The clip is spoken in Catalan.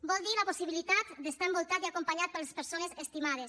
vol dir la possibilitat d’estar envoltat i acompanyat per les persones estimades